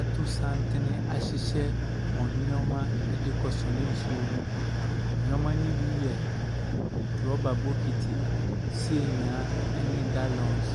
ato santene ahyehyɛ wɔn nneɛma de rekɔsɔne nsuo no bi. Nneɛma no bi yɛ rɔba bokiti, seenyaa, ne gallons.